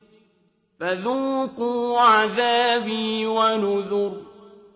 فَذُوقُوا عَذَابِي وَنُذُرِ